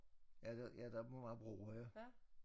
Ja der ja der må være broer ja